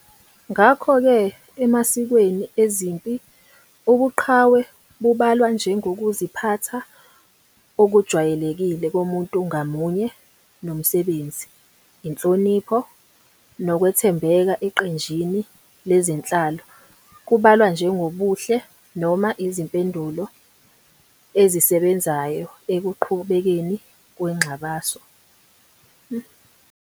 Ngakho-ke emasikweni ezempi, ubuqhawe bubalwa njengokuziphatha okujwayelekile komuntu ngamunye nomsebenzi, inhlonipho, nokwethembeka eqenjini lezenhlalo kubalwa njengobuhle noma izimpendulo ezisebenzayo ekuqhubekeni kwengxabano.